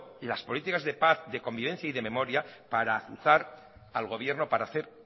las políticas de paz de convivencia y de memoria para azuzar al gobierno para hacer